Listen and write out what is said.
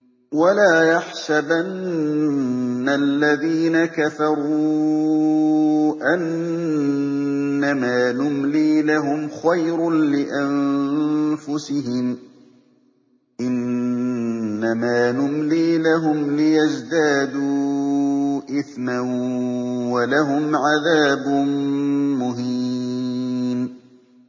وَلَا يَحْسَبَنَّ الَّذِينَ كَفَرُوا أَنَّمَا نُمْلِي لَهُمْ خَيْرٌ لِّأَنفُسِهِمْ ۚ إِنَّمَا نُمْلِي لَهُمْ لِيَزْدَادُوا إِثْمًا ۚ وَلَهُمْ عَذَابٌ مُّهِينٌ